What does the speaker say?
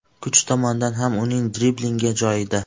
Kuch tomondan ham uning driblingi joyida.